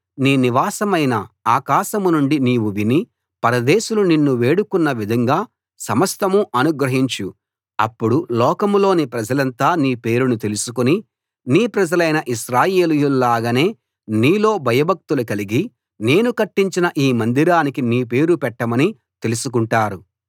నీ నివాసమైన ఆకాశం నుండి నీవు విని పరదేశులు నిన్ను వేడుకొన్న విధంగా సమస్తం అనుగ్రహించు అప్పుడు లోకంలోని ప్రజలంతా నీ పేరును తెలుసుకుని నీ ప్రజలైన ఇశ్రాయేలీయుల్లాగానే నీలో భయభక్తులు కలిగి నేను కట్టించిన ఈ మందిరానికి నీ పేరు పెట్టామని తెలుసుకుంటారు